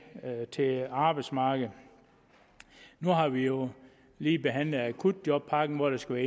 til arbejdsmarkedet nu har vi jo lige behandlet akutpakken hvor der skal